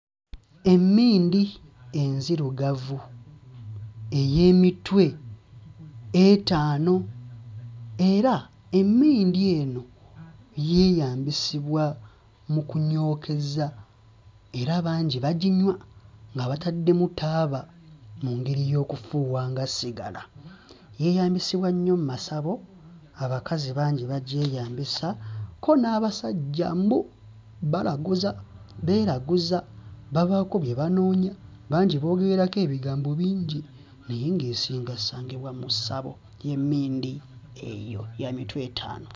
Emmindi enzirugavu ey'emitwe etaano era emmindi eno yeeyambisibwa mu kunyookeza era bangi baginywa nga bataddemu taaba mu ngeri y'okufuuwa nga ssigala, yeeyambisibwa nnyo mmasabo abakazi bangi bagyeyambisa kko n'abasajja mbu balaguza beeraguza babaako bye banoonya bangi boogererako ebigambo bingi naye ng'esinga ssangibwa mu ssabo y'emmindi eyo, ya mitwe etaano.